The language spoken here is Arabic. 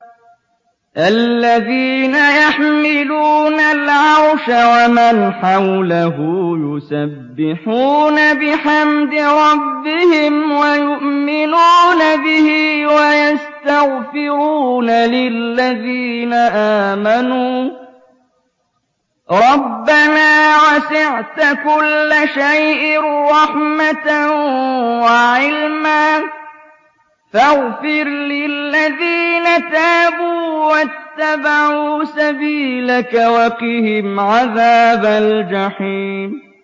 الَّذِينَ يَحْمِلُونَ الْعَرْشَ وَمَنْ حَوْلَهُ يُسَبِّحُونَ بِحَمْدِ رَبِّهِمْ وَيُؤْمِنُونَ بِهِ وَيَسْتَغْفِرُونَ لِلَّذِينَ آمَنُوا رَبَّنَا وَسِعْتَ كُلَّ شَيْءٍ رَّحْمَةً وَعِلْمًا فَاغْفِرْ لِلَّذِينَ تَابُوا وَاتَّبَعُوا سَبِيلَكَ وَقِهِمْ عَذَابَ الْجَحِيمِ